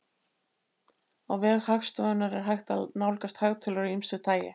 Á vef Hagstofunnar er hægt að nálgast hagtölur af ýmsu tagi.